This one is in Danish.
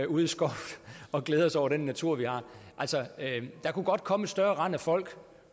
ude i skoven og glæder os over den natur vi har der kunne godt komme et større rend af folk